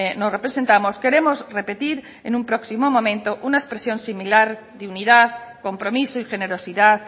nos representamos queremos repetir en un próximo momento una expresión similar dignidad compromiso y generosidad